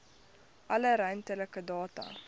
alle ruimtelike data